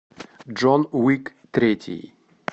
джон уик третий